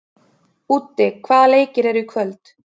Úddi, hvaða leikir eru í kvöld?